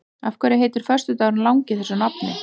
Af hverju heitir föstudagurinn langi þessu nafni?